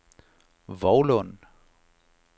Vovlund